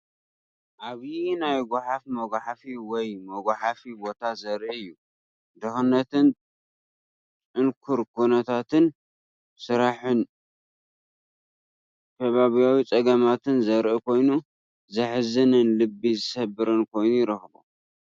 ዓብይ ናይ ጎሓፍ መጉሓፊ ወይ መጉሓፊ ቦታ ዘርኢ እዩ። ድኽነትን ጽንኩር ኩነታት ስራሕን ከባብያዊ ጸገማትን ዘርኢ ኮይኑ፡ ዘሕዝንን ልቢ ዝሰብርን ኮይኑ ይረኽቦ፡፡